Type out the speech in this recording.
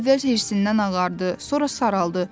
O əvvəl hirsindən ağardı, sonra saraldı.